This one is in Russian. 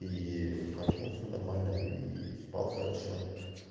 и проснулся нормально и спал хорошо